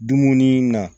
Dumuni na